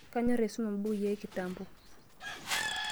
Kenyorr aisuma mbukui e kitamo.